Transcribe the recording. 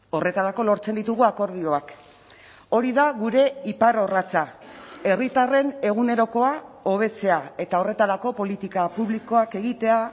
horretarako lortzen ditugu akordioak hori da gure iparrorratza herritarren egunerokoa hobetzea eta horretarako politika publikoak egitea